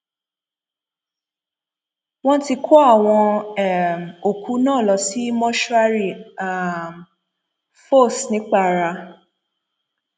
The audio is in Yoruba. wọn ti kó àwọn um òkú náà lọ sí mọṣúárì um fòs ńìpara